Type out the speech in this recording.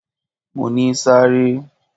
Mo ní sáré!